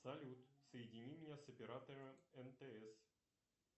салют соедини меня с оператором мтс